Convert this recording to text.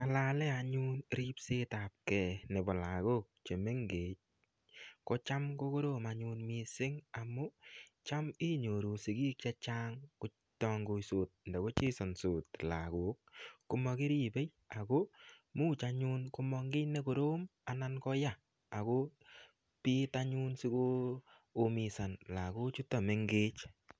Ngalale anyun ripsetabke nebo lagok che mengechen ko cham ko korom anyun mising amu cham inyoru sigik che chang kotangoisot anda kochensansot lagok komakirib ko much anyun komong kiy ne korom anan ko ya ago piitanyun sigoumisan lagochuto mengech.